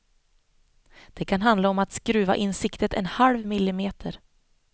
Det kan handla om att skruva in siktet en halv millimeter.